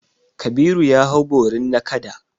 Kabiru ya hau borin nakada.